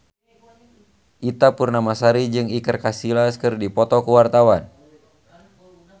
Ita Purnamasari jeung Iker Casillas keur dipoto ku wartawan